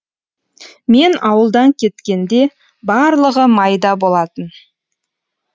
мен ауылдан кеткенде барлығы майда болатын